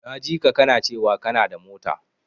Na jika kana cewa kanada mota.